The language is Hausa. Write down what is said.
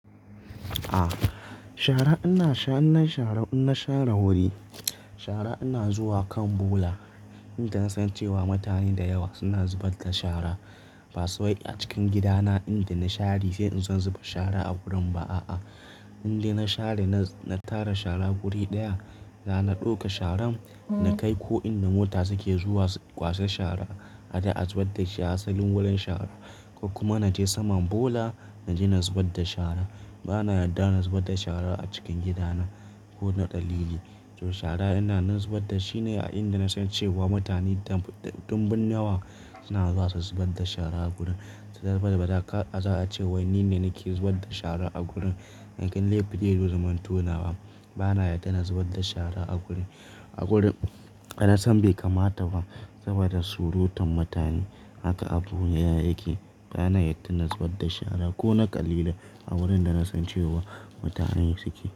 Ah, shara ina sha inashara inna share wuri. Shara ina zuwa kan bola, inda na san cewa mutane da yawa suna zubar da shara. Ba sai a cikin gidana inda na share sai in zan zuba shara a gurin ba a'a. Inda na share na tara shara wuri ɗaya, da na ɗauka sharan na kai ko inda mota suke zuwa kwasa shara a je a zubar da shi asalin wurin shara. Kokuma na je saman bola na je na zubar da shara. Bana yarda na zubar da shara a cikin gidana, ko na daline. To shara ina na zubar da shi ne a inda na san cewa mutanen da dumbin yawa suna zuwa su zubar da shara a gurin. Saboda ka za a ce wai ni ne nake zubar da shara a gurin. In kin laifin da zai zo ya zumanto nawa, bana yarda na zubar da shara a gurin. A gurin, na san bai kamata ba saboda surutan mutane. Haka abun yake. Bana yarda na zubar da shara ko na ƙalilan ne a wurin da na san cewa mutane suke.